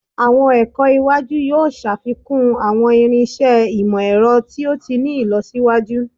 Awọn ẹkọ iwaju yoo ṣafikun awọn irinṣẹ imọ-ẹrọ to ti ni ilọsiwaju